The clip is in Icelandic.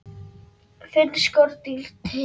Finna skordýr til?